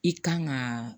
I kan ka